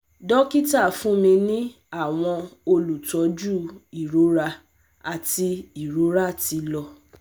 dokita fun mi ni awọn olutọju irora ati irora ti lọ